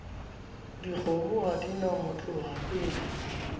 dikgomo ha di na motlohapele